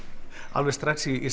alveg strax í